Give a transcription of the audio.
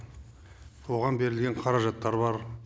оған берілген қаражаттар бар